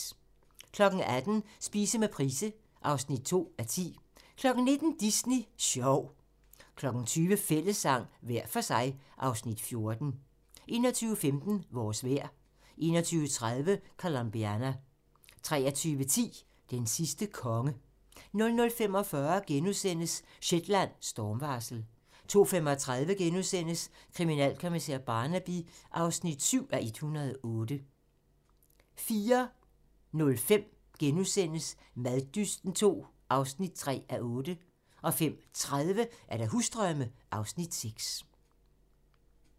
18:00: Spise med Price (2:10) 19:00: Disney sjov 20:00: Fællessang - hver for sig (Afs. 14) 21:15: Vores vejr 21:30: Colombiana 23:10: Den sidste konge 00:45: Shetland: Stormvarsel * 02:35: Kriminalkommissær Barnaby (7:108)* 04:05: Maddysten II (3:8)* 05:30: Husdrømme (Afs. 6)